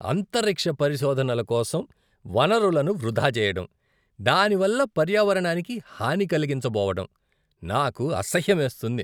అంతరిక్ష పరిశోధనల కోసం వనరులను వృధా చేయడం, దాని వల్ల పర్యావరణానికి హాని కలిగించబోవడం నాకు అసహ్యమేస్తుంది.